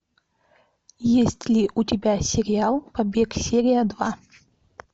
есть ли у тебя сериал побег серия два